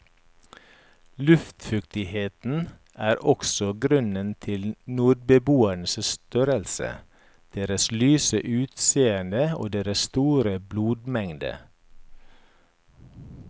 Luftfuktigheten er også grunnen til nordboernes størrelse, deres lyse utseende og deres store blodmengde.